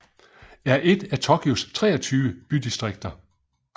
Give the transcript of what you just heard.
er et af Tokyos 23 bydistrikter